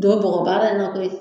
Don bɔgɔbaara in na koyi